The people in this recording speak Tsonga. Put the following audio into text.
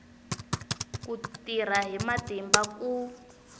ku tirha hi matimba ku